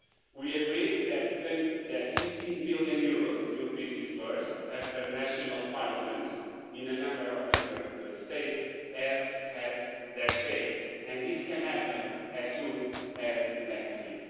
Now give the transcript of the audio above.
We agreed that EUR 15 billion will be disbursed after the national parliaments in a number of Member States have had their say, and this can happen as soon as next week.